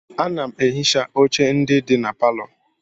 Ana m ehicha oche ndị dị na palọ.